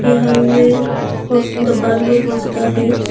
यहां में बहुत ज्यादा है।